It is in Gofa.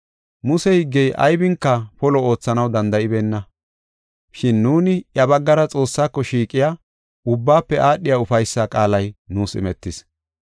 Muse higgey aybinka polo oothanaw danda7ibeenna. Shin nuuni iya baggara Xoossaako shiiqiya ubbaafe aadhiya ufaysa qaalay nuus imetis.